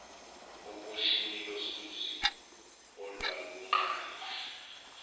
obishini losizi olwaluqale